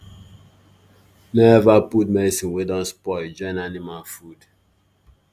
no ever put medicine wey don spoil join animal food